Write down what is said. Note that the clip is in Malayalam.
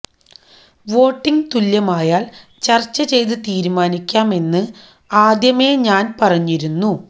വോട്ടിങ് തുല്യമായാല് ചര്ച്ച ചെയ്ത് തീരുമാനിക്കാം എന്ന് ആദ്യമെ ഞാന് പറഞ്ഞിരുന്നു